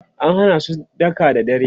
an Hana su daka da dare